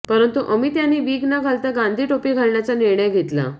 परंतु अमित यांनी विग न घालता गांधी टोपी घालण्याचा निर्णय घेतला